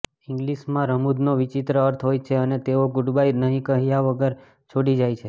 ઇંગ્લીશમાં રમૂજનો વિચિત્ર અર્થ હોય છે અને તેઓ ગુડબાય નહીં કર્યા વગર છોડી જાય છે